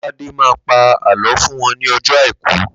Lóládé má pa Àlọ́ fún wọn ní ọjọ́ àìkú.